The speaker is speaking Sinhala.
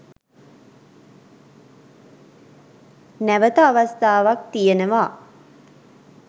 නැවත අවස්ථාවක් තියෙනවා.